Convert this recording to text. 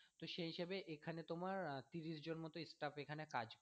তো সেই হিসেবে এখানে তোমার আহ তিরিশ জন মতো staff এখানে কাজ করে।